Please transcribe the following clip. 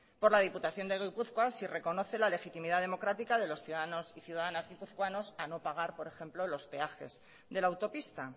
por la diputación de gipuzkoa si reconoce la legitimidad democrática de los ciudadanos y ciudadanas guipuzcoanos a no pagar por ejemplo los peajes de la autopista